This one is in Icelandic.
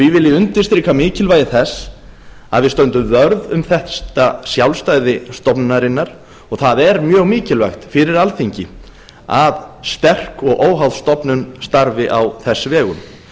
vil ég undirstrika mikilvægi þess að við stöndum vörð um þetta sjálfstæði stofnunarinnar og það er mjög mikilvægt fyrir alþingi að sterk og óháð stofnun starfi á þess vegum